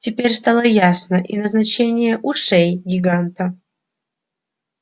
теперь стало ясно и назначение ушей гиганта